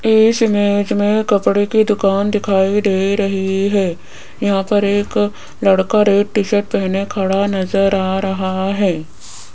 इस इमेज में कपड़े की दुकान दिखाई दे रही है यहां पर एक लड़का रेड टी शर्ट पहने खड़ा नजर आ रहा है।